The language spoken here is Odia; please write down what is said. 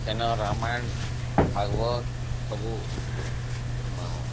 ସେଇଦିନ ରାମାୟଣ ଭଗବତ ସବୁ